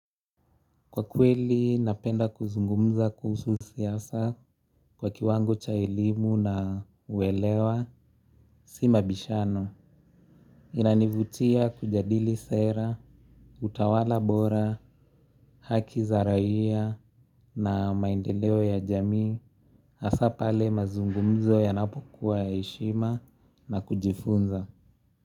Kwa kweli, napenda kuzungumza kuhusu siasa kwa kiwango cha elimu na uwelewa, si mabishano. Inanivutia kujadili sera, utawala bora, haki za raia na maendeleo ya jamii, hasaa pale mazungumzo ya napokuwa ya heshima na kujifunza.